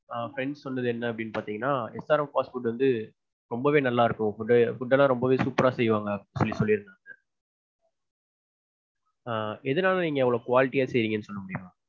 ஆஹ் friend சொன்னது என்ன அப்டீன்னு பாத்தீங்கன்னா SRM fast food வந்து ரொம்பவே நல்லா இருக்கும். food food எல்லாம் ரொம்பவே super ரா செய்வாங்க அப்படீன்னு சொல்லிருந்தாங்க. எதனால நீங்க அவ்ளோ quality யா செய்யறீங்கனு சொல்ல முடியுமா?